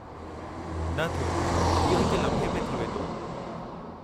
न थियो, इहो हिक लम्हे में थी वेंदो।